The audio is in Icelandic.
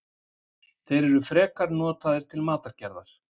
Þeir eru frekar notaðir til matargerðar.